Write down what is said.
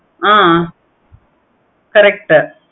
ஆஹ் correct உ